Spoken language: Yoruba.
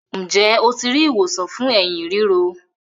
Njé o ti ri ìwòsàn fún Ẹ̀hín ríro?